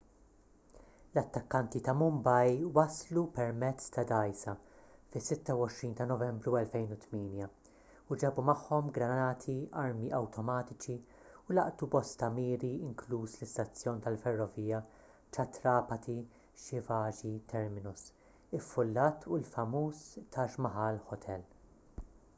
l-attakkanti ta' mumbai waslu permezz ta' dgħajsa fis-26 ta' novembru 2008 u ġabu magħhom granati armi awtomatiċi u laqtu bosta miri inkluż l-istazzjon tal-ferrovija chhatrapati shivaji terminus iffullat u l-famuż taj mahal hotel